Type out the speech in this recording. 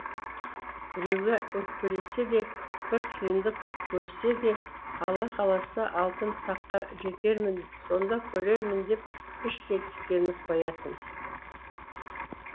біреуге өкпелесе де бір қиындық көрсе де алла қаласа алтын таққа жетермін сонда көрермін деп іштей тістеніп қоятын